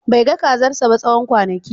Bai ga kazarsa ba tsawon kwanaki